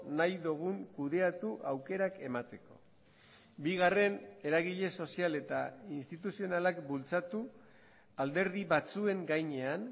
nahi dugun kudeatu aukerak emateko bigarren eragile sozial eta instituzionalak bultzatu alderdi batzuen gainean